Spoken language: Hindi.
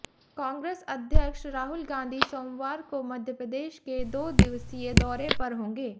कांग्रेस अध्यक्ष राहुल गांधी सोमवार को मध्यप्रदेश के दो दिवसीय दौरे पर होंगे